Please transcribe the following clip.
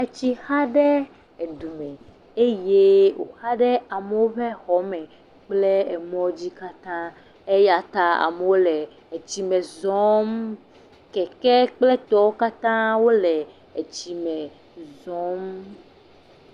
Etsi xaɖe dume eye woxa ɖe amewo ƒe xɔme kple emɔwo dzi katã eyata amewo le tsime zɔm keke kple etɔwo katã wole tsime zɔm